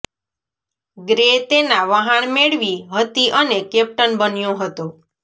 grey તેના વહાણ મેળવી હતી અને કેપ્ટન બન્યો હતો